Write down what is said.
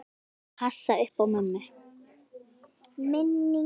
Ég passa upp á mömmu.